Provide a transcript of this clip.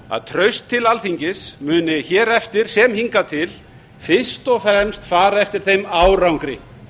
að traust til alþingis muni hér eftir sem hingað til fyrst og fremst fara eftir þeim árangri